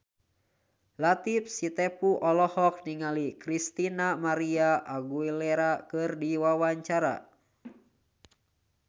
Latief Sitepu olohok ningali Christina María Aguilera keur diwawancara